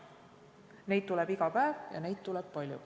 Neid tuleb iga päev ja neid tuleb palju.